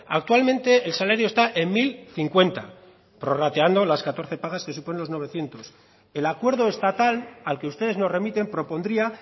actualmente el salario está en mil cincuenta prorrateando las catorce pagas que suponen los novecientos el acuerdo estatal al que ustedes nos remiten propondría